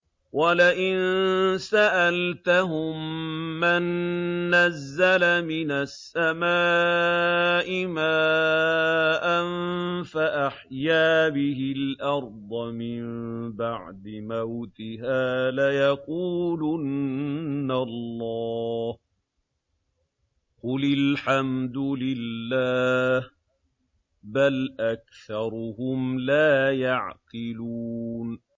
وَلَئِن سَأَلْتَهُم مَّن نَّزَّلَ مِنَ السَّمَاءِ مَاءً فَأَحْيَا بِهِ الْأَرْضَ مِن بَعْدِ مَوْتِهَا لَيَقُولُنَّ اللَّهُ ۚ قُلِ الْحَمْدُ لِلَّهِ ۚ بَلْ أَكْثَرُهُمْ لَا يَعْقِلُونَ